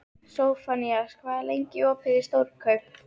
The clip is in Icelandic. Sophanías, hvað er lengi opið í Stórkaup?